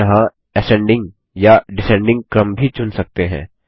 हम यहाँ असेंडिंग या डिसेंडिंग क्रम भी चुन सकते हैं